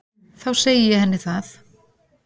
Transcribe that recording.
Þá segi ég henni það.